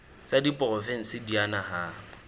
tsa diporofensi di a nahanwa